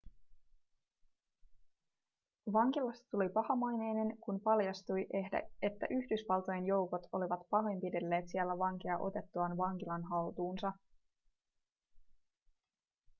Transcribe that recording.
vankilasta tuli pahamaineinen kun paljastui että yhdysvaltojen joukot olivat pahoinpidelleet siellä vankeja otettuaan vankilan haltuunsa